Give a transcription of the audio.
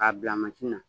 K'a bila na